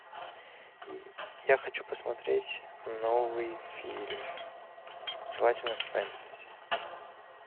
я хочу посмотреть новый фильм желательно фэнтези